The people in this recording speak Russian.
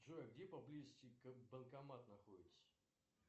джой где поблизости банкомат находится